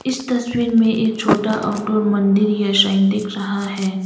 इस तस्वीर में एक छोटा आउटडोर मंदिर या शाइन दिख रहा हैं।